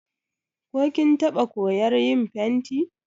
Ko kin taɓa koyar yin fenti?